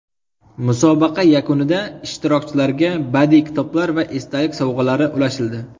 Musobaqa yakunida ishtirokchilarga badiiy kitoblar va esdalik sovg‘alari ulashildi.